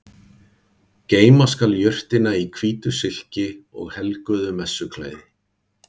Geyma skal jurtina í hvítu silki og helguðu messuklæði.